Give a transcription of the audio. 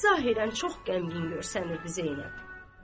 Zahirən çox qəmgin görünürdü Zeynəb.